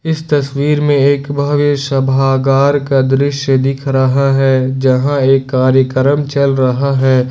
इस तस्वीर में एक भव्य सभागार का दृश्य दिख रहा है जहां एक कार्यक्रम चल रहा है।